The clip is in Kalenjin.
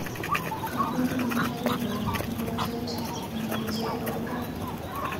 Kaguur amitwogikab ngokchet nameche aip gaa